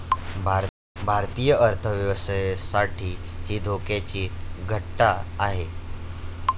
भारतीय अर्थव्यवस्थेसाठी ही धोक्याची घंटा आहे.